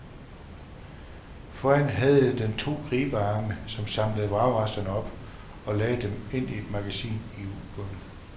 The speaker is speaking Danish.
Foran havde den to gribearme, som samlede vragresterne op og lagde dem ind i et magasin i ubåden.